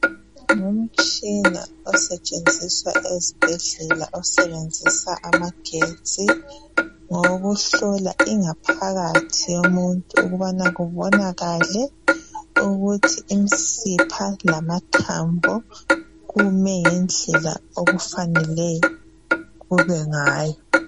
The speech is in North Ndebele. Ngumtshina osetshenziswa ezibhedlela osebenzisa amagetsi ngowokuhlola ingaphakathi yomuntu ukubana kubonakale ukuthi imsipha lamathambo kumele ngendlela okufanele kube ngayo.